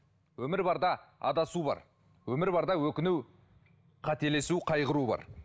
өмір барда адасу бар өмір барда өкіну қателесу қайғыру бар